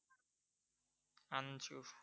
আন চু